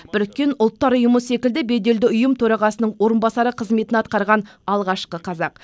біріккен ұлттар ұйымы секілді беделді ұйым төрағасының орынбасары қызметін атқарған алғашқы қазақ